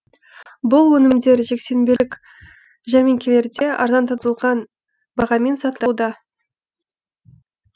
бұл өнімдер жексенбілік жәрмеңкелерде арзандатылған бағамен сатылуда